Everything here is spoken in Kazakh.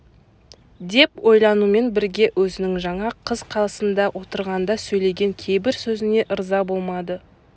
деп ойланумен бірге өзінің жаңа қыз қасында отырғанда сөйлеген кейбір сөзіне ырза болмады